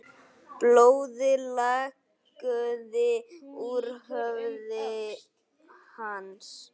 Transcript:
Blóðið lagaði úr höfði hans.